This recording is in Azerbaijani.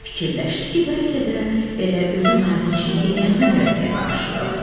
Fikirləşdi ki, bəlkə də elə özü nadinclik eləyəndə mürəkkəbə aşırıb.